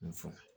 N sɔn